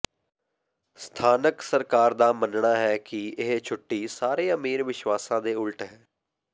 ਸਥਾਨਕ ਸਰਕਾਰ ਦਾ ਮੰਨਣਾ ਹੈ ਕਿ ਇਹ ਛੁੱਟੀ ਸਾਰੇ ਅਮੀਰ ਵਿਸ਼ਵਾਸਾਂ ਦੇ ਉਲਟ ਹੈ